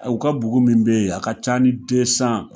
U ka bugu min bɛ yen a ka ca ni